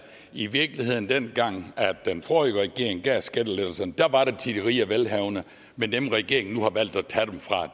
i virkeligheden dengang den forrige regering gav skattelettelser var til de rige og velhavende men at dem regeringen nu har valgt at tage dem fra